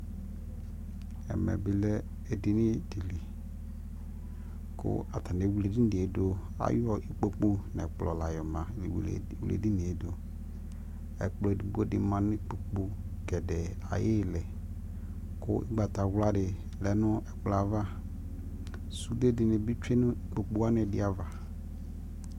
ɛmɛ bi lɛ ɛdini dili kʋ atani ɛwlɛ ɛdiniɛ dʋ, ayɔ ikpɔkʋ nʋ ɛkplɔ la yɔ wlɛ ɛdiniɛ dʋ, ɛkplɔ ɛdigbɔ di manʋ ikpɔkʋ gɛdɛɛ ayili kʋ ɔgbatawla di lɛnʋ ɛkplɔɛ aɣa, sʋdɛ dinibi twɛnʋ ikpɔkʋ wani ɛdi aɣa